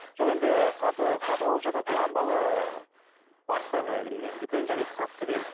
жоқ енді сатып алып жатады оған бала барса да міне дүкен жарайды сатты делік